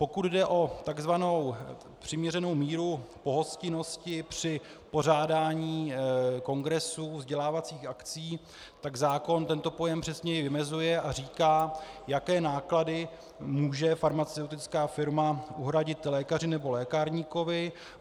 Pokud jde o tzv. přiměřenou míru pohostinnosti při pořádání kongresů vzdělávacích akcí, tak zákon tento pojem přesněji vymezuje a říká, jaké náklady může farmaceutická firma uhradit lékaři nebo lékárníkovi.